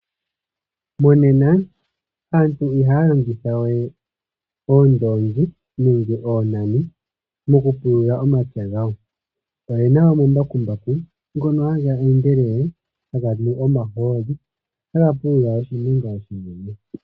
Monena aantu ihaya longitha we oondoongi nenge oonani mokupulula omapya gawo . Oyena omambakumbaku ngono haga endelele haganu omahooli, ohaga pulula oshilwa oshinene.